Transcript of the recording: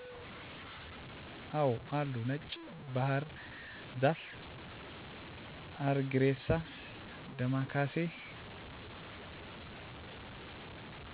አወ አሉ ነጭ ባህር ዛፍ አረግሬሳ ዳማከሴ